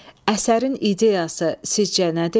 Əsərin ideyası sizcə nədir?